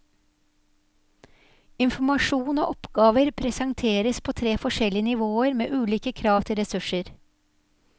Informasjon og oppgaver presenteres på tre forskjellige nivåer med ulike krav til ressurser.